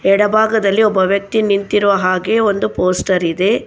ಎಡಭಾಗದಲ್ಲಿ ಒಬ್ಬ ವ್ಯಕ್ತಿ ನಿಂತಿರುವ ಹಾಗೆ ಒಂದು ಪೋಸ್ಟರ್ ಇದೆ.